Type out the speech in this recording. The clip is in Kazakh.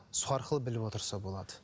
сол арқылы біліп отырса болады